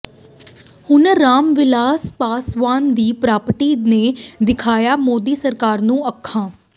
ਹੁਣ ਰਾਮਵਿਲਾਸ ਪਾਸਵਾਨ ਦੀ ਪਾਰਟੀ ਨੇ ਦਿਖਾਇਆ ਮੋਦੀ ਸਰਕਾਰ ਨੂੰ ਅੱਖਾਂ